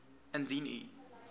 indien u